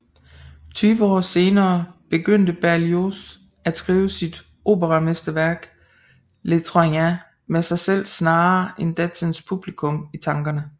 Tyve år senere begyndte Berlioz at skrive sit operamesterværk Les Troyens med sig selv snarere end datidens publikum i tankerne